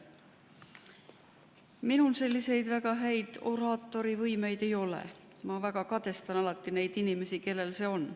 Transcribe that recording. Minul väga häid oraatorivõimeid ei ole, ma alati väga kadestan neid inimesi, kellel need on.